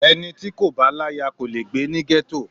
Ẹni tí kò bá láyà kò le gbé ní gétò